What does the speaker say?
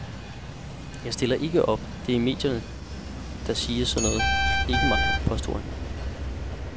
Jeg stiller ikke op, det er medierne, der siger sådan noget, ikke mig, påstod han.